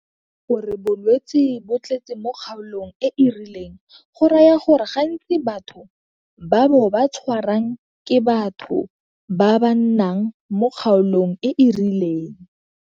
Go re bolwetse bo tletse mo kgaolong e e rileng go raya gore gantsi batho ba bo ba tshwarang ke batho ba ba nnang mo kgaolong e e rileng.